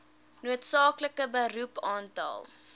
noodsaaklike beroep aantal